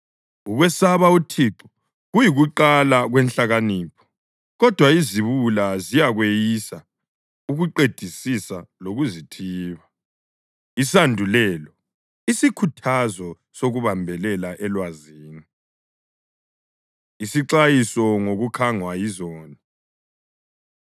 Ukwesaba uThixo kuyikuqala kwenhlakanipho, kodwa iziwula ziyakweyisa ukuqedisisa lokuzithiba. Isandulelo: Isikhuthazo Sokubambelela Elwazini Isixwayiso Ngokukhangwa Yizoni